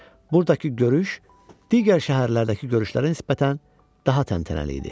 Buradakı görüş digər şəhərlərdəki görüşlərə nisbətən daha təntənəli idi.